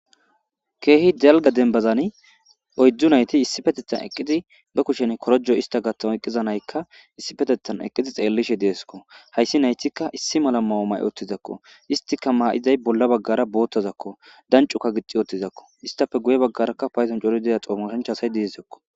keehi delga dembazani oyddzu nayti issi petetan eqqizi ba kushen korojo ista gattama eqqiza naykka issi petetan eqqidi xeellishe deesko hayssi naytikka issi mala mao ma7e ottizakko istika maa7iday bolla baggara boottazakko dancuka gixi oottizakko istafe guye baggarakka payzon cori deya xoomashanchasay diiizaysako